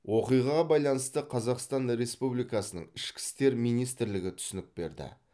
оқиғаға байланысты қазақстан республикасының ішкі істер министрлігі түсінік берді